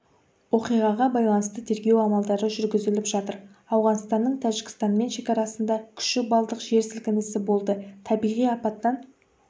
оқиғаға байланысты тергеу амалдары жүргізіліп жатыр ауғанстанның тәжікстанмен шекарасында күші балдық жер сілкінісі болды табиғи апаттан